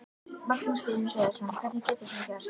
Magnús Hlynur Hreiðarsson: Hvernig getur svona gerst?